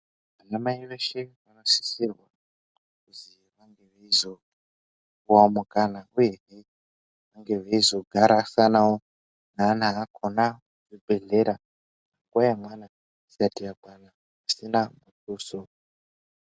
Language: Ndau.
Anamai veshe vanosisirwa kuzi vange veizopuwe mukana uyehe vange veizogarisanawo neana akona kuzvibhedhleya nguwa yemwana isati yakwana pasina muduso.